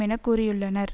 என கூறியுள்ளனர்